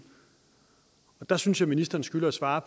der synes jeg ministeren skylder at svare